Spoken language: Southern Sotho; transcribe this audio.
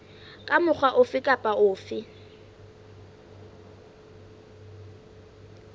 ka mokgwa ofe kapa ofe